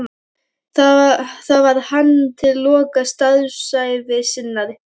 Þar var hann til loka starfsævi sinnar.